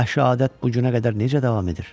bu vəhşi adət bu günə qədər necə davam edir?